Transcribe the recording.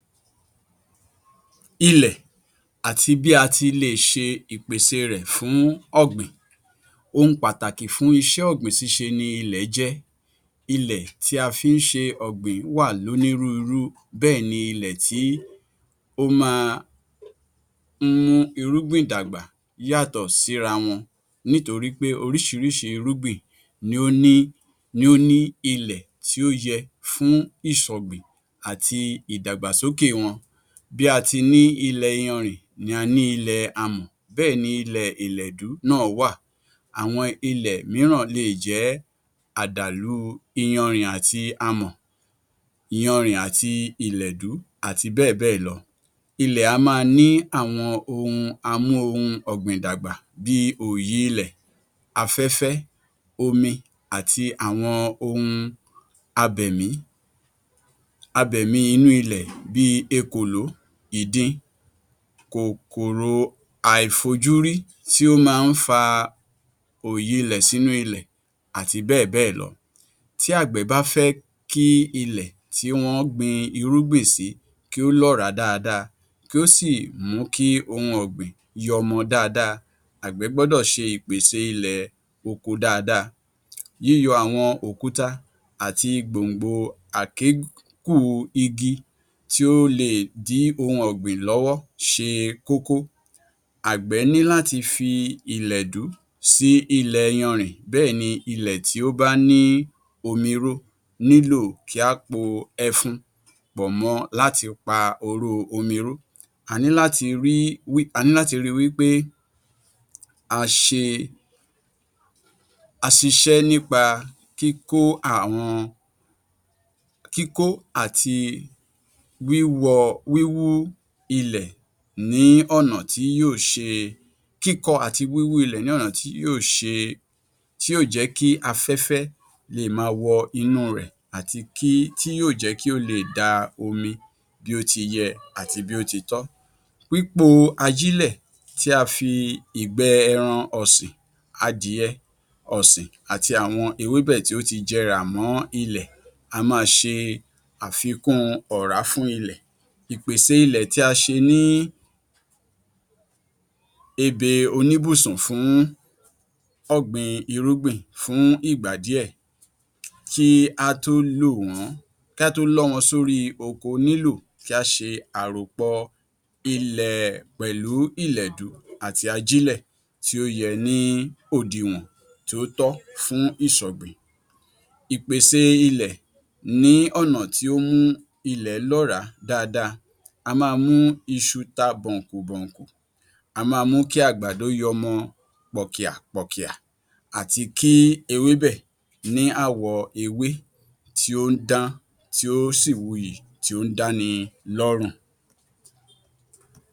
Ilẹ̀ àti bí a ti le è ṣe ìpèsè rẹ̀ fún ọ̀gbìn. Ohun pàtàkì fún iṣẹ́ ọ̀gbìn ṣíṣe ni ilẹ̀ jẹ́, ilẹ̀ tí a fí ń ṣe ọ̀gbìn wà lónírúurú bẹ́ẹ̀ ni ilẹ̀ tí ó máa ń mú irúgbìn dàgbà yàtọ̀ síra wọn nítorí pé oríṣiríṣi irúgbìn ni ó ní ilẹ̀ tí ó yẹ fún ìṣọ̀gbìn àti ìdàgbàsókè wọn bí a ti ní ilẹ̀ iyanrìn, ni a ní ilẹ̀ amọ̀, bẹ́ẹ̀ni ilẹ̀ ìlẹ̀dú náà wà, àwọn ilẹ̀ mìíràn le è jẹ́ àdàlú iyanrìn àti amọ̀, iyanrìn àti ìlẹ̀dú àti bẹ́ẹ̀ bẹ́ẹ̀ lọ. Ilẹ̀ á máa ní àwọn ohun amú-ohun-ọ̀gbìn-dàgbà bí i òyi ilẹ̀, afẹ́fẹ́, omi, àti àwọn ohun abẹ̀mí, abẹ̀mí inú ilẹ̀ bí èkòló, ìdin, kòkòrò àìfojúrí tí ó máa ń fa òyi ilẹ̀ sínú ilẹ̀ àti bẹ́ẹ̀ bẹ́ẹ̀ lọ. Tí àgbẹ̀ bá fẹ́ kí ilẹ̀ tí wọ́n gbin irúgbìn sí kí ó lọ́ràá dáadáa, kí ó sì mú kí ohun ọ̀gbìn yọmọ dáadáa àgbẹ̀ gbọ́dọ̀ ṣe ìpèsè ilẹ̀ oko dáadáa yíyọ àwọn òkúta, àti gbòǹgbò àgékù igi tí ó le è dí ohun ọ̀gbìn lọ́wọ́ ṣe kókó. Àgbè ní láti fi ìlẹ̀dú sí ilẹ̀ iyanrìn béẹ̀ ni ilẹ̀ tí ó bá ní omirú nílò kí á po ẹfun pọ̀ mọ́ láti pa omirú. A ní láti ri wí pé a ṣe iṣẹ́ nípa kíkọ àti wíwú ilẹ̀ ní ọnà tí yóò jẹ́ kí afẹ́fẹ́ le è máa wọ inú u rẹ̀ àti tí yóò jẹ́ kí ó le è da omi bí ó ti ye àti bí ó ti tọ́. Pípo ajílẹ̀ tí a fi ìgbẹ́ ẹran ọ̀sìn, adìye ọ̀sìn àti àwọn ewébẹ̀ tí ó ti jẹrà mọ́ ilẹ̀ á máa ṣe àfikún ọ̀rá fún ilẹ̀. Ìpèsè ilẹ̀ tí a ṣe ní ebè oníbùsùn fún ọ̀gbìn irúgbìn fún ìgbà díẹ̀ kí á tó lọ́ wọn sórí oko lílò kí á ṣe àròpọ̀ ilẹ̀ pẹ̀lú ìlẹ̀dú àtí ajílẹ̀ tí ó ye ní òdiwọ̀n tí ó tọ́ fún ìṣọ̀gbìn. Ìpèsè ilẹ̀ ní ọ̀nà tí ó mú ilẹ̀ lọ́ràá dáadáa, á máa mú iṣu ta bọ̀ǹkùbọ̀ǹkù, á máa mú kí àgbàdo yọmọ pọ̀kìàpọ̀kìà, àti kí ewébẹ̀ ní àwọ ewé tí ó ń dán, tí ó sì wuyì, tí ó ń dáni lọ́rùn.